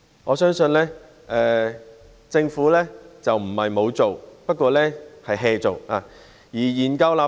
我相信政府不是沒有做，只不過是""做。